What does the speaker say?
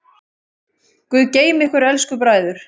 Guð geymi ykkur elsku bræður.